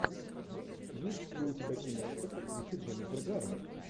есть ли у тебя киношка с актрисой дженнифер гарнер